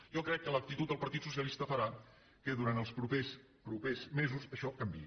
jo crec que l’actitud del partit socialista farà que durant els propers mesos això canviï